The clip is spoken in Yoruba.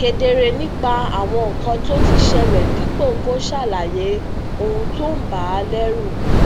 kedere nípa àwọn nǹkan tó ti ṣẹlè dípò kó ṣàlàyé ohun tó ń bà á leru